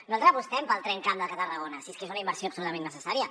nosaltres apostem pel tramcamp de tarragona si és que és una inversió absolutament necessària